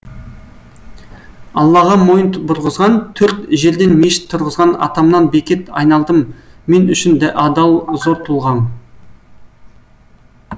аллаға мойын бұрғызған төрт жерден мешіт тұрғызған атамнан бекет айналдым мен үшін адал зор тұлғаң